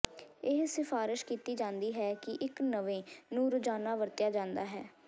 ਇਹ ਸਿਫਾਰਸ਼ ਕੀਤੀ ਜਾਂਦੀ ਹੈ ਕਿ ਇੱਕ ਨਵੇਂ ਨੂੰ ਰੋਜ਼ਾਨਾ ਵਰਤਿਆ ਜਾਂਦਾ ਹੈ